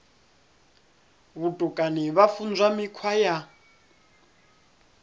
vhutukani vha funzwa mikhwa ya